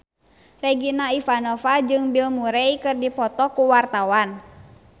Regina Ivanova jeung Bill Murray keur dipoto ku wartawan